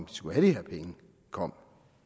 de skulle have de her penge kom